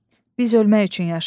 Biz ölmək üçün yaşayırıq.